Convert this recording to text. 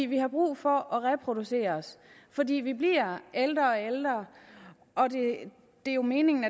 vi har brug for at reproducere os fordi vi bliver ældre og ældre og det er jo meningen